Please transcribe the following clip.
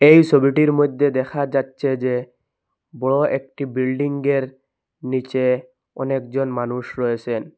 এই ছবিটির মধ্যে দেখা যাচ্ছে যে বড় একটি বিল্ডিংয়ের নীচে অনেকজন মানুষ রয়েছেন।